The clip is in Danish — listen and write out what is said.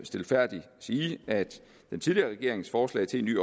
stilfærdigt sige at den tidligere regerings forslag til en ny